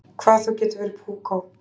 Hvað þú getur verið púkó!